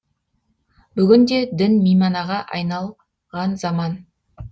бүгінде дін мейманаға айнал заман